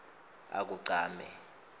akugcame